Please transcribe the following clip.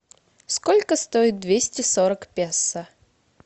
сколько стоит двести сорок песо